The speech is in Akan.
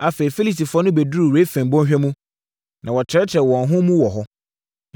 Afei, Filistifoɔ no bɛduruu Refaim bɔnhwa mu, na wɔtrɛtrɛɛ wɔn ho mu wɔ hɔ.